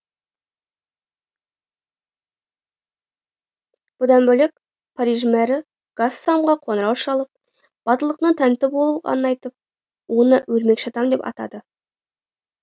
бұдан бөлек париж мэрі гассамға қоңырау шалып батылдығына тәнті болғанын айтып оны өрмекші адам деп атады